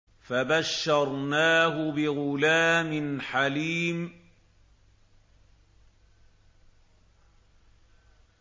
فَبَشَّرْنَاهُ بِغُلَامٍ حَلِيمٍ